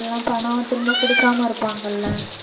எல்லாம் பணம் திரும்ப குடுக்காம இருப்பாங்கல்ல